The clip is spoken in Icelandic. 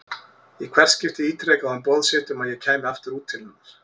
Í hvert skipti ítrekaði hún boð sitt um að ég kæmi aftur út til hennar.